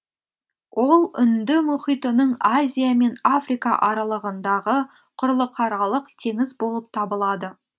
ол үнді мұхитының азия мен африка аралығындағы құрлықаралық теңіз болып табылады